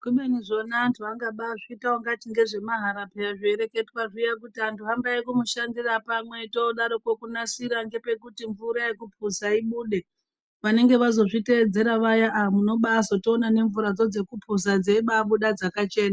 Kubeni zvona antu angabazviita ungati ngezvemahala peyani zveireketwa kuti vantu hambai kumushandira pamwe todaroko kunasira ngepekuti mvura yekuphuza ibude vanenge vazozviteedzera vaya aah munobatozoona nemvura dzekuphuza dzeibuda dzakachena.